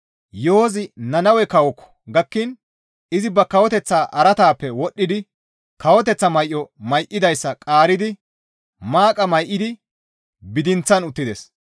Yo7ozi Nannawe kawookko gakkiin izi ba kawoteththaa araataappe wodhdhidi kawoteththaa may7o may7idayssa qaaridi maaqa may7idi bidinththan uttides.